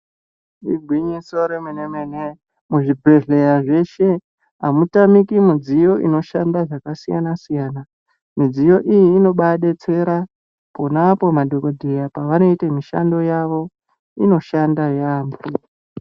Igwinyiso remenemene muzvibhehleya zveshe amutamiki midziyo inoshanda zvakasiyansiyana midziyo iyi inobaadetsera ponapo madhokodheya pavanoita mishando yavo inoshanda yaamho.